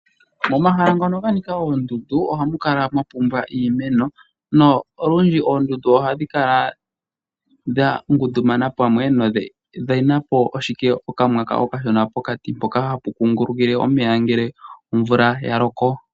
Moma hala ngono ga nika oondundu. Ohamu kala mwa pumba iimeno. Na ulundji oondundu ohadhi kala dha ngundumana pamwe. Dhi na po ashike okamwaka okashona pokati mpono hapu kungulukile omeya ngele omvula ya loko.